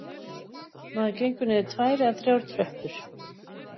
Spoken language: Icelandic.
Maður gengur niður tvær eða þrjár tröppur